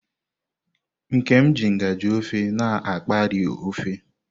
Nkem ji ngaji ofe na akpaari ofe.